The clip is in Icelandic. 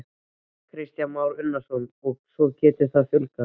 Kristján Már Unnarsson: Og svo getur þetta fjölgað?